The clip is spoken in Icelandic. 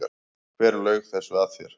Hver laug þessu að þér?